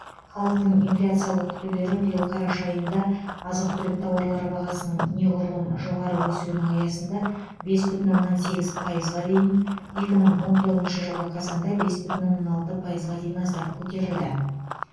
халықтың инфляциялық күтулері биыл қараша айында азық түлік тауарлары бағасының неғұрлым жоғары өсуінің аясында бес бүтін оннан сегіз пайызға дейін екі мың он тоғызыншы жылғы қазанда бес бүтін оннан алты пайызға дейін аздап көтерілді